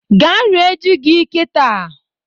Gaa rie ji gị kịta!